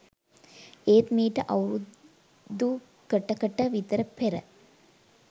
එත් මීට අවුරුදු කට කට විතර පෙර